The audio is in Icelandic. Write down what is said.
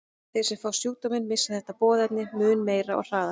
Þeir sem fá sjúkdóminn missa þetta boðefni mun meira og hraðar.